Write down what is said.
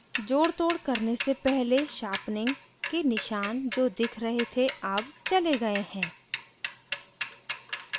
जोड़तोड़ करने से पहले sharpening के निशान जो दिख रहे थे अब चले गए हैं